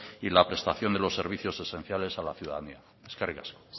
y la prestación de los servicios esenciales a la ciudadanía eskerrik asko